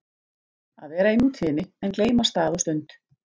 Að vera í nútíðinni en gleyma stað og stund